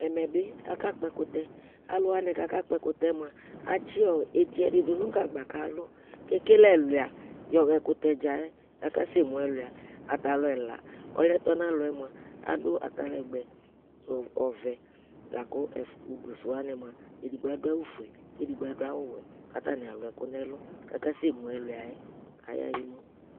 ɛmébi ɑkɑkpo ɛkutɛ ɑluwɑni kɑkɑ kpo ɛkutɛ ɑtsiɛtidi dunugɑgbɑ kɑlu ɛkɛlɛ ɛluɑ yɔhɑ ɛkutɛdzɑɛ ɑkɑsɛmu ɛluɑ ɑtɑluɛlɑ ɔluɛtonɑlɔ ɑdu ɑtɑlɛgbé nu ɔvɛ lɑku udusuɛwɑni muɑ ɛdigbo ɑduɑwu fuɛ kɛdigbo ɑdu ɑwu vé katɑni luekunɛlu kɑƙɑsɛmo ɛluɑyɛ kayauu